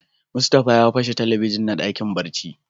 Mustapha ya pashe Telebijin na dakin barci.